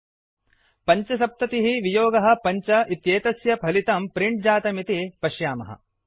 75 5पञ्चसप्ततिः वियोगः पञ्च एतस्य फलितं प्रिण्ट् जातम् इति पश्यामः